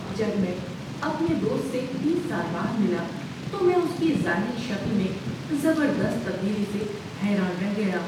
جب میں اپنے دوست سے تیس سال بعد ملا تو میں اس کی ظاہری شکل میں زبردست تبدیلی سے حیران رہ گیا۔